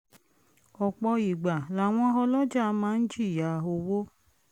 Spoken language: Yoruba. ọ̀pọ̀ ìgbà làwọn ọlọjàà máa ń jìyà owó